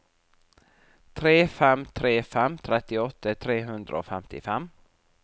tre fem tre fem trettiåtte tre hundre og femtifem